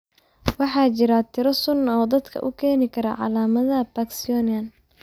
Waxa jira tiro sun ah oo dadka u keeni kara calaamadaha Parkinsonian.